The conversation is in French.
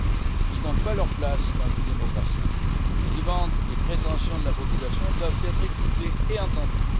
elles n'ont pas leur place dans une démocratie. Les demandes et prétentions de la population doivent être écoutées et entendues.